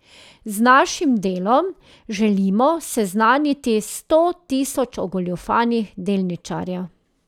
Z našim delom želimo seznaniti sto tisoč ogoljufanih delničarjev.